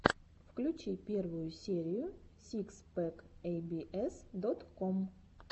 включи первую серию сикс пэк эй би эс дот ком